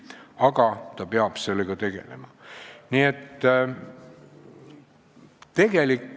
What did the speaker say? Aga ta peab seda arvestama.